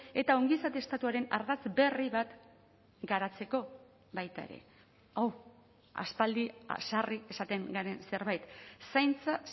eta ongizate estatuaren ardatz berri bat garatzeko baita ere hau aspaldi sarri esaten garen zerbait zaintza